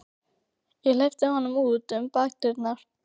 Ég hleypti honum út um bakdyrnar.